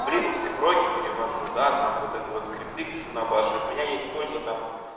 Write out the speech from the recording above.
в линуксе проги перевожу да там вот это вот скрипты пишу набашад от меня есть польза там